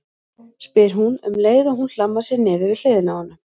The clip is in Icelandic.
spyr hún um leið og hún hlammar sér niður við hliðina á honum.